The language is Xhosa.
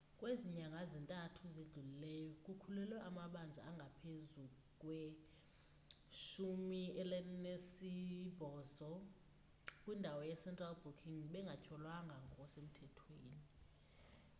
kwezi nyanga ziyi-3 zidlulileyo kukhululwe amabanjwa angaphezu kwe-80 kwindawo ye-central booking bengatyholwanga ngokusemthethweni